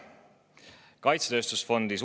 Suurendatakse kaitsetööstuse fondi.